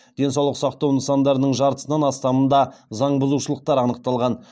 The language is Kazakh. денсаулық сақтау нысандарының жартысынан астамында заң бұзушылықтар анықталған